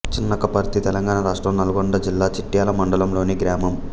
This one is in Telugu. చిన్నకపర్తి తెలంగాణ రాష్ట్రం నల్గొండ జిల్లా చిట్యాల మండలంలోని గ్రామం